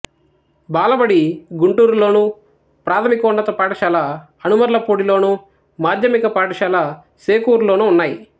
బాలబడి గుంటూరులోను ప్రాథమికోన్నత పాఠశాల అనుమర్లపూడిలోను మాధ్యమిక పాఠశాల శేకూరులోనూ ఉన్నాయి